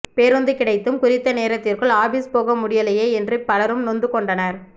பேருந்து கிடைத்தும் குறித்த நேரத்திற்குள் ஆபிஸ் போக முடியலையே என்று பலரும் நொந்து கொண்டனர்